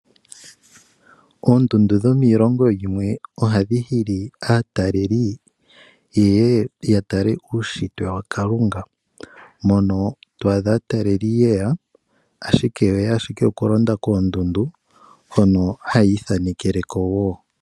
Oondundu dhomiilongo yimwe ohadhi hili aataleli yeye ya tale uushitwe wakalunga mono twaadha aataleli ye ya, Ashike oye ya ashike oku londa koondundu hono haya ithanekele ko wo.